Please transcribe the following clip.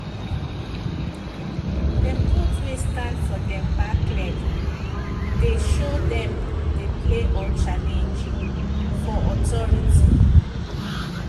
dem goat wey stand for dem back legdey show dem dey play or challenge for authority